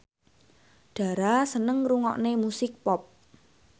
Dara seneng ngrungokne musik pop